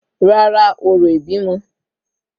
Rárá, orò ìbímọ